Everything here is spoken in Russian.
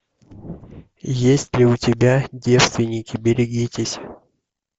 есть ли у тебя девственники берегитесь